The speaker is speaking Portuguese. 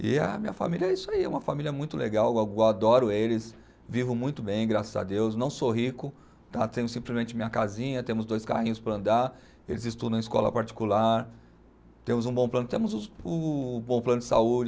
E a minha família é isso aí, é uma família muito legal, eu a, eu adoro eles, vivo muito bem, graças a Deus, não sou rico tá, tenho simplesmente minha casinha, temos dois carrinhos para andar, eles estudam em escola particular, temos um bom plano, temos os, um bom plano de saúde,